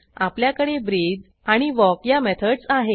आपल्याकडे ब्रीथ आणि वॉक या मेथडस आहेत